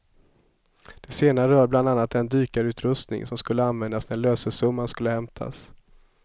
Det senare rör bland annat den dykarutrustning som skulle användas när lösesumman skulle hämtas.